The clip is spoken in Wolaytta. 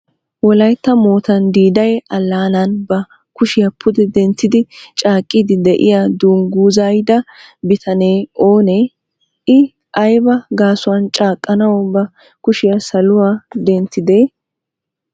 Wolaytta moottan Diiday Alanan ba kushiya pude denttidi caaqqidi de'iya dungguzaaayida bitanee oone? I aybba gaasuwan caaqqanaw ba kushiya saluwa denttide?